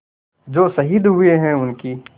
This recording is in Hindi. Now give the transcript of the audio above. जो शहीद हुए हैं उनकी